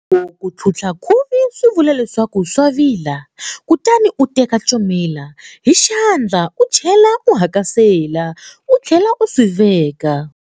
Ku tlhutlha khuvi swi vula leswaku swa vila, kutani u teka comela hi xandla u chela u hakasela, u tlhela u swi veka.